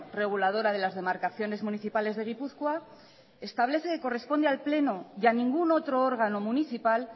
reguladora de las demarcaciones municipales de gipuzkoa establece que corresponde al pleno y a ningún otro órgano municipal